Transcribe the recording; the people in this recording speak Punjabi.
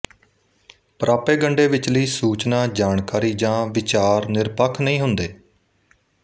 ਪ੍ਰਾਪੇਗੰਡੇ ਵਿਚਲੀ ਸੂਚਨਾ ਜਾਣਕਾਰੀ ਜਾਂ ਵਿਚਾਰ ਨਿਰਪੱਖ ਨਹੀਂ ਹੁੰਦੇ